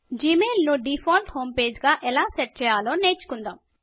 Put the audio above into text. Gmail ను default home page గా ఎలా సెట్ చేయాలో నేర్చుకుందాము